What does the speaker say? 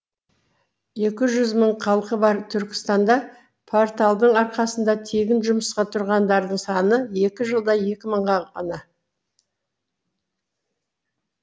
екі жүз мың халқы бар түркістанда порталдың арқасында тегін жұмысқа тұрғандардың саны екі жылда екі мың ғана